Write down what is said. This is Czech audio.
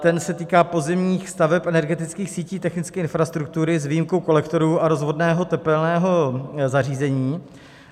Ten se týká pozemních staveb energetických sítí technické infrastruktury s výjimkou kolektorů a rozvodného tepelného zařízení.